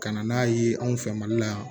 Ka na n'a ye anw fɛ mali la